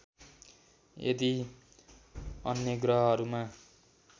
यदि अन्य ग्रहहरूमा